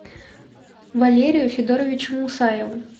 валерию федоровичу мусаеву